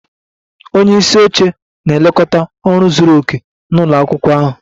Onye isi oche na-elekọta ọrụ zuru oke nke ụlọ akwụkwọ ahụ